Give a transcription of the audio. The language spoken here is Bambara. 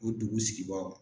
U dugu sigibagaw.